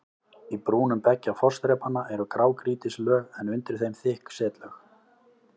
Í brúnum beggja fossþrepanna eru grágrýtislög en undir þeim þykk setlög.